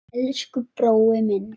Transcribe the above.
Elsku brói minn.